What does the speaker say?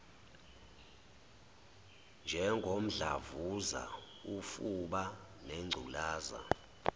njengomdlavuza ufuba nengculaza